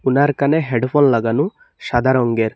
এনার কানে হেডফোন লাগানো সাদা রংগের।